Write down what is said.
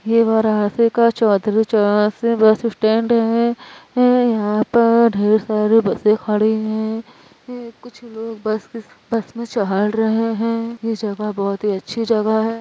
यह चौधरी चरण सिह का bus stand है यहां पे ढेर सारे बसें खड़ी हैं कुछ लोग बस के बस में चढह रहे हैं यह जगा बहुत अच्छी जगा है।